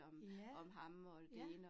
Ja, ja